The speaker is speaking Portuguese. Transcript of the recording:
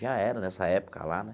Já era nessa época lá, né?